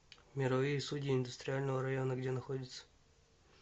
мировые судьи индустриального района где находится